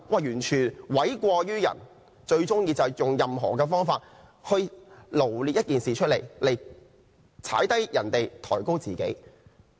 "完全諉過於人，最喜歡用不同角度解釋事情來詆毀別人，抬高自己。